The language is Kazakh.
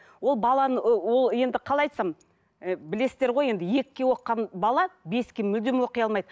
ол баланы ыыы ол енді қалай айтсам і білесіздер ғой енді екіге оқыған бала беске мүлдем оқи алмайды